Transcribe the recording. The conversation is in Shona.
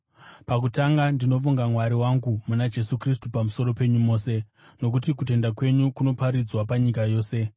Pakutanga, ndinovonga Mwari wangu muna Jesu Kristu pamusoro penyu mose, nokuti kutenda kwenyu kunoparidzwa panyika yose.